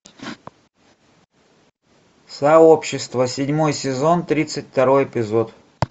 сообщество седьмой сезон тридцать второй эпизод